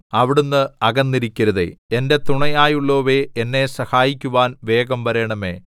അവിടുന്ന് അകന്നിരിക്കരുതേ എന്റെ തുണയായുള്ളോവേ എന്നെ സഹായിക്കുവാൻ വേഗം വരേണമേ